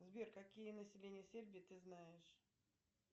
сбер какие населения сербии ты знаешь